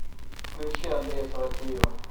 включи андрея саватеева